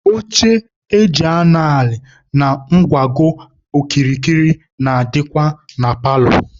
Oche eji anọ ala na ngwago okirikiri na-adịkwa na paalọ.